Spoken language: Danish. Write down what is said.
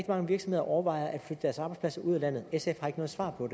mange virksomheder overvejer at flytte deres arbejdspladser ud af landet sf har ikke noget svar på